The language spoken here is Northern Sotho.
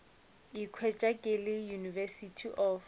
ikhwetša ke le university of